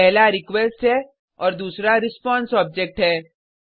पहला रिक्वेस्ट है और दूसरा रिस्पांस ऑब्जेक्ट है